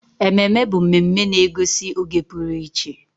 Ememe bụ mmemme na-egosi oge pụrụ iche.